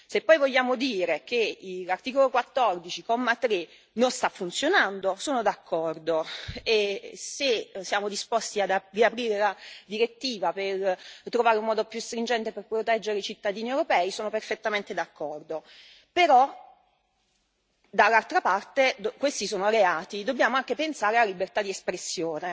Se poi vogliamo dire che l'articolo 14, comma 3, non sta funzionando, sono d'accordo e se siamo disposti a riaprire la direttiva per trovare un modo più stringente per proteggere i cittadini europei sono perfettamente d'accordo. Però, dall'altra parte, questi sono reati e dobbiamo anche pensare alla libertà di espressione.